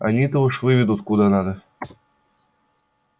они-то уж выведут куда надо